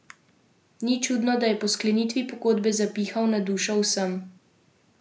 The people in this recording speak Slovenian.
Ni čudno, da je po sklenitvi pogodbe zapihal na dušo vsem.